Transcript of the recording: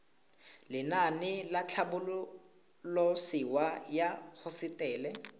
lenaane la tlhabololosewa ya hosetele